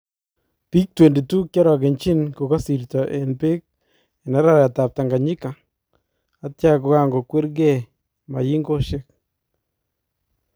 Biik 22 kiarakenchin kokasirtoo en beek en araraytab Tanganyika atya kankokweer kee mayinkosyeek